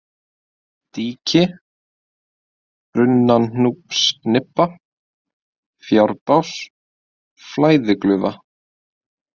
Díki, Brunnanúpsnibba, Fjárbás, Flæðiglufa